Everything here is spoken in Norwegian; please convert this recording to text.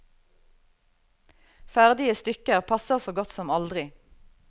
Ferdige stykker passer så godt som aldri.